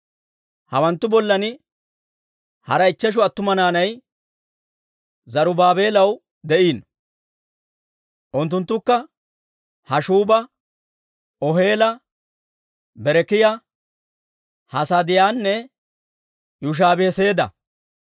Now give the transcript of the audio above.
Hawanttu bollan hara ichcheshu attuma naanay Zarubaabeelaw de'iino; unttunttukka Haashshuuba, Oheela, Berekiyaa, Hasaadiyaanne Yushaabi-Heseeda.